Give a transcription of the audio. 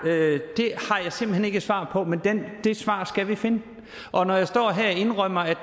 jeg simpelt hen ikke et svar på men det svar skal vi finde og når jeg står her og indrømmer at